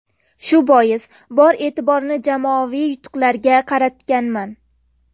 Shu bois, bor e’tiborimni jamoaviy yutuqlarga qaratganman.